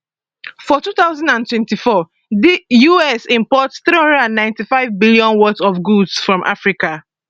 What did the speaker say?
for 2024 di us import 395bnworth of goods from africa